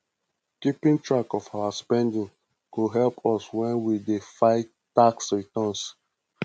keeping track of our spending go help us when we dey file tax returns